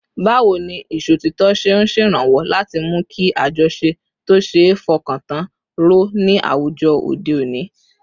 Báwo ni ìṣòtítọ́ ṣe ń ṣèrànwọ́ láti mú kí àjọṣe tó ṣeé fọkàn tán ró ní àwùjọ òde òní?